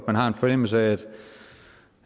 man har en fornemmelse af